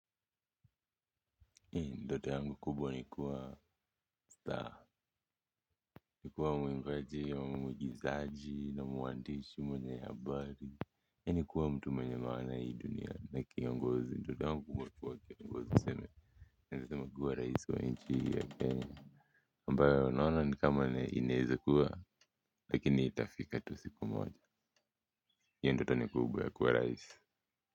Ndoto yangu kubwa ni kuwa star, ni kuwa mwimbaji au mwigizaji na mwandishi mwenye habari ni kuwa mtu mwenye maana hii dunia ni kiongozi tu, ndoto yangu kubwa ni kuwa kiongozi, niseme inawezekana kuwa raisi wa nchi hii ya Kenya ambayo naona ni kama na inawezakuwa lakini itafika tu siku moja, hiyo ndoto ni kubwa ya kuwa raisi.